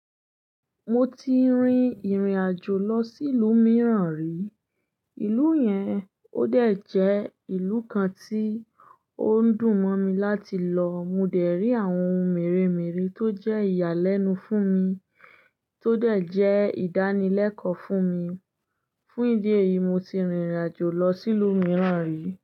Mo ti rin ìrìnàjò lọ sí ìlú mìíràn rí. Ìlú yẹn ó dẹ̀ jẹ́ ìlú kan tí ó ń dùn mọ́ mi láti lọ. Mo dẹ̀ rí àwọn ohun mèremère tó jẹ́ ìyàlẹ́nu fún mi, tó dẹ̀ jẹ́ ìdánilẹ́kọ̀ọ́ fún mi. Fún ìdí èyí, mo ti rìnrìnàjò lọ sí ìlú mìíràn rí.